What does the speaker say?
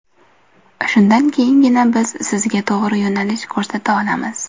Shundan keyingina biz sizga to‘g‘ri yo‘nalish ko‘rsata olamiz.